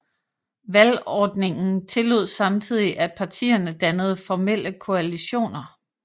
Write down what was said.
Valgordningen tillod samtidig at partierne dannede formelle koalitioner